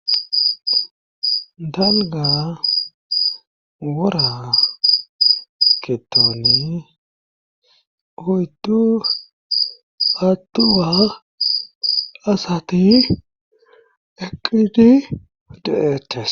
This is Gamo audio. Dalga wora ketoni hoytu attuwa asati eqidi de7eeches